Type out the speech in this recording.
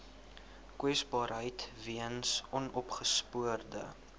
kwesbaarheid weens onopgespoorde